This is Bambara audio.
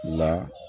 La